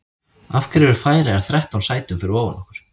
Af hverju eru Færeyjar þrettán sætum fyrir ofan okkur?